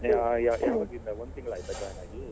ಒಂದು ತಿಂಗಳಾಯ್ತಾ join ಆಗಿ .